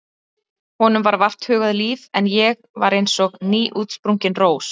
Honum var vart hugað líf en ég var eins og nýútsprungin rós.